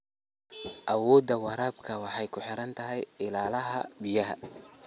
Awoodda waraabka waxay ku xiran tahay ilaha biyaha.